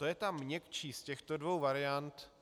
To je ta měkčí z těchto dvou variant.